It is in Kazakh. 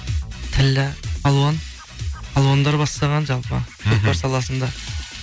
тілі алуан алуандар бастаған жалпы мхм саласында